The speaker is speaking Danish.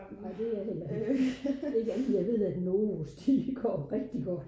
nej det er jeg heller ikke ikke andet end at jeg ved at novos de går rigtigt godt